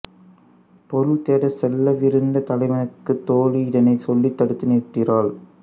பொருள் தேடச் செல்லவிருந்த தலைவனுக்குத் தோழி இதனைச் சொல்லித் தடுத்து நிறுத்துகிறாள்